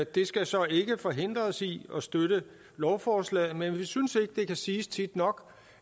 det skal så ikke forhindre os i at støtte lovforslaget men vi synes ikke det kan siges tit nok